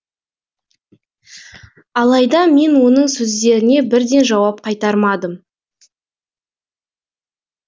алайда мен оның сөздеріне бірден жауап қайтармадым